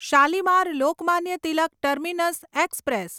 Shalimar Lokmanya Tilak terminus express